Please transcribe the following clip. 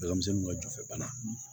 Denmisɛnninw ka jofɛ bana